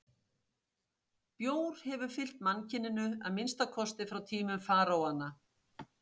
Bjór hefur fylgt mannkyninu að minnsta kosti frá tímum faraóanna.